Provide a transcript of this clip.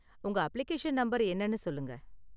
உங்க application number என்னனு சொல்லுங்க.